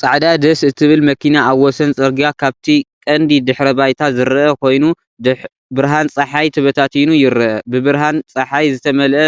ጻዕዳ ደስ እትብል መኪና ኣብ ወሰን ጽርግያ፣ ካብቲ ቀንዲ ድሕረ ባይታ ዝረአ ኮይኑ፡ ብርሃን ጸሓይ ተበታቲኑ ይረአ፡፡ ብብርሃን ጸሓይ ዝተመልአ